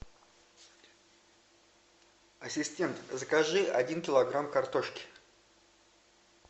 ассистент закажи один килограмм картошки